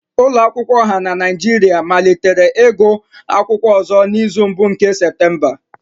Ụlọ akwụkwọ ọha na Nigeria malitere igụụ akwụkwọ ọzọ n'izu mbụ nke Septemba